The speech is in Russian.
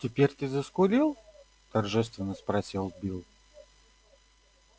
теперь ты заскулил торжественно спросил билл